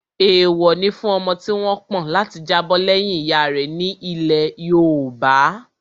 Èèwọ̀ ni fún ọmọ tí wọ́n pọ̀n láti jábọ̀ lẹ́yìn ìyá rẹ̀ ní ilẹ̀ yoòbá